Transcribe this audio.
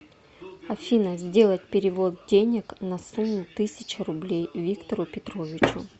афина сделать перевод денег на сумму тысяча рублей виктору петровичу